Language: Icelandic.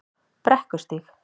Brekkustíg